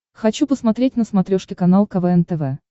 хочу посмотреть на смотрешке канал квн тв